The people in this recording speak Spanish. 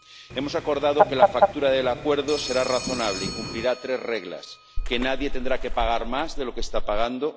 Hemos acordado que la factura del acuerdo será razonable y cumplirá tres reglas que nadie tendrá que pagar más de lo que está pagando